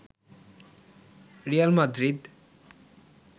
Real Madrid